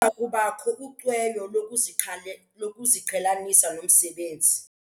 Kubakho ucweyo lokuziqhelanisa nomsebenzi.